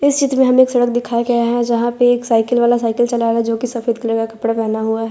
इस चित्र में हमें एक चित्र दिखाया गया है जहां पे एक साइकिल वाला साइकिल चला रहा है जोकि सफेद कलर का कपड़ा पहना हुआ--